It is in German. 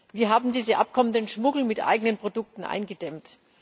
Wie haben diese Abkommen den Schmuggel mit eigenen Produkten eingedämmt?